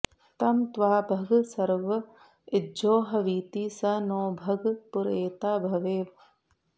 तं त्वा भग सर्व इज्जोहवीति स नो भग पुरएता भवेह